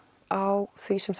á því sem